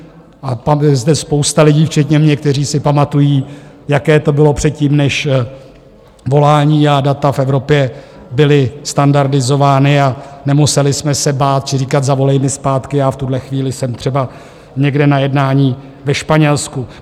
A je zde spousta lidí, včetně mě, kteří si pamatují, jaké to bylo předtím, než volání a data v Evropě byly standardizována a nemuseli jsme se bát či říkat zavolej mi zpátky, já v tuhle chvíli jsem třeba někde na jednání ve Španělsku.